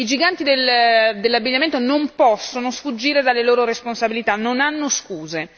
I giganti dell'abbigliamento non possono sfuggire alle loro responsabilità, non hanno scuse.